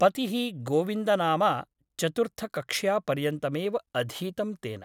पतिः गोविन्दनामा चतुर्थकक्ष्यापर्यन्तमेव अधीतं तेन ।